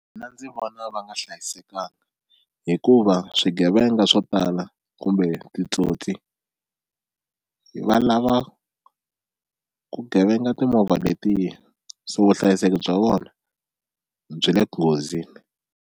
Mina ndzi vona va nga hlayisekanga hikuva swigevenga swo tala kumbe titsotsi va lava ku gevenga timovha letiya so vuhlayiseki bya vona byi le nghozini.